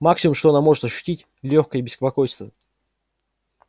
максимум что она может ощутить лёгкое беспокойство